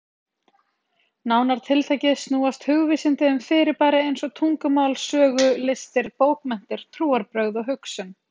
Nánar tiltekið snúast hugvísindi um fyrirbæri eins og tungumál, sögu, listir, bókmenntir, trúarbrögð og hugsun.